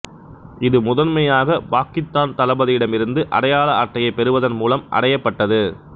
இது முதன்மையாக பாக்கித்தான் தளபதியிடமிருந்து அடையாள அட்டையைப் பெறுவதன் மூலம் அடையப்பட்டது